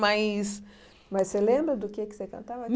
Mas mas você lembra do que é que você cantava?